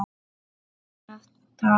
Ragnar Daði.